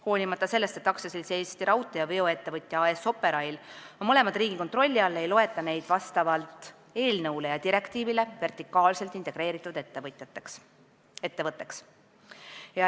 Hoolimata sellest, et AS Eesti Raudtee ja veoettevõtja AS Operail on mõlemad riigi kontrolli all, ei loeta neid vastavalt eelnõule ja direktiivile vertikaalselt integreeritud ettevõtjaks.